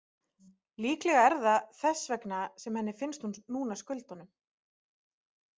Líklega er það þess vegna sem henni finnst hún núna skulda honum.